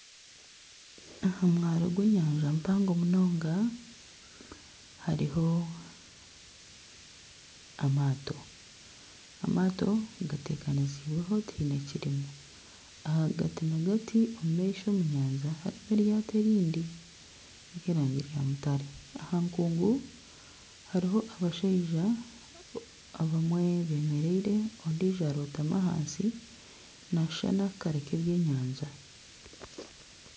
Aha mwaro gw'enyanya mpango munonga hariho amaato. Amaato gateebekanisiibweho tihaine kirimu. Ahagati n'ahagati omu maisho omu nyanja harimu eryato erindi ry'erangi ya mutare, aha nkungu hariho abashaija abamwe bemereire ondiijo arotami ahansi noshusha n'akatare k'ebyenyanja.